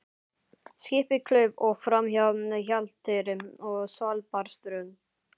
Skipið klauf sig framhjá Hjalteyri og Svalbarðsströnd.